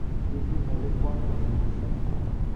Kii ki nekikwongee missing